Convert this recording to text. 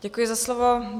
Děkuji za slovo.